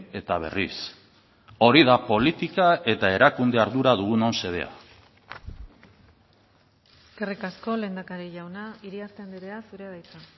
eta berriz hori da politika eta erakunde ardura dugunon xedea eskerrik asko lehendakari jauna iriarte andrea zurea da hitza